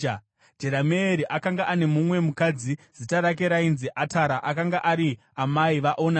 Jerameeri akanga ane mumwe mukadzi, zita rake rainzi Atara. Akanga ari amai vaOnami.